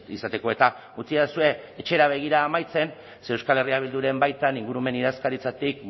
izateko eta utzidazue etxera begira amaitzen ze euskal herria bilduren baitan ingurumen idazkaritzatik